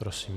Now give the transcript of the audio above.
Prosím.